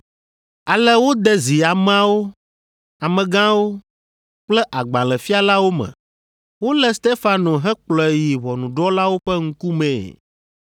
Ale wode zi ameawo, amegãwo kple agbalẽfialawo me. Wolé Stefano hekplɔe yi ʋɔnudrɔ̃lawo ƒe ŋkumee.